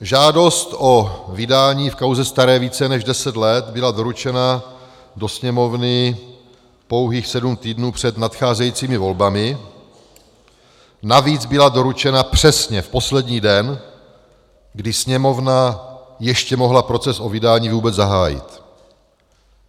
Žádost o vydání v kauze staré více než deset let byla doručena do Sněmovny pouhých sedm týdnů před nadcházejícími volbami, navíc byla doručena přesně v poslední den, kdy Sněmovna ještě mohla proces o vydání vůbec zahájit.